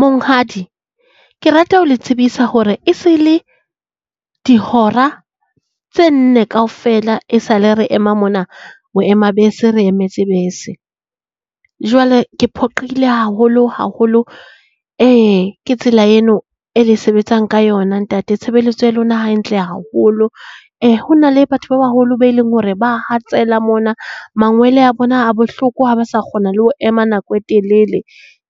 Monghadi, ke rata ho le tsebisa hore e se le dihora tse nne kaofela e sale re ema mona boema bese, re emetse bese. Jwale ke phoqeile haholo haholo ke tsela eno e le sebetsang ka yona ntate. Tshebeletso ya lona ha e ntle haholo. Ho na le batho ba baholo be leng hore ba hatsela mona, mangwele a bona a bohloko ha ba sa kgona le ho ema nako e telele.